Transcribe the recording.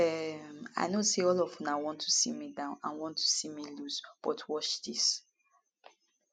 um i know say all of una want to see me down and want to see me lose but watch dis